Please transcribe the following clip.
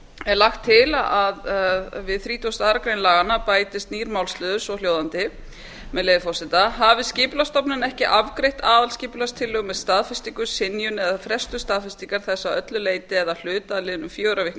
er lagt til að við þrítugustu og aðra grein laganna bætist nýr málsliður svohljóðandi með leyfi forseta við þriðju málsgrein bætist nýr málsliður svohljóðandi hafi skipulagsstofnun ekki afgreitt aðalskipulagstillögu með staðfestingu synjun eða frestun staðfestingar þess að öllu leyti eða hluta að liðnum fjögurra vikna